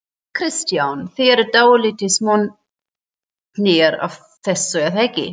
Kristján: Þið eruð dálítið montnir af þessu er það ekki?